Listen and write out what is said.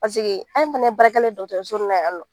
anw fana ye baarakɛla ye dɔgɔtɔrɔso in na yan nɔ